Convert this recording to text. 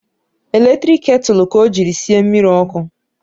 Eletrik ketulu ka o jiri sie mmiri ọkụ